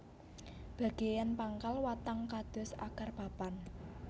Bageyan pangkal watang kados akar papan